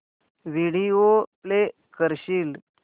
video play करशील